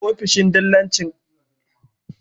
ofishin dillancin ƙasa da ƙasa nada amfani